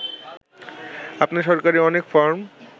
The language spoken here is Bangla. আপনি সরকারি অনেক ফরম